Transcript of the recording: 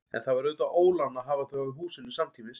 En það var auðvitað ólán að hafa þá í húsinu samtímis.